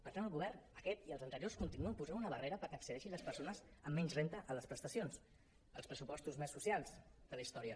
per tant el govern aquest i els anteriors continua posant una barrera perquè accedeixin les persones amb menys renda a les prestacions als pressupostos més socials de la història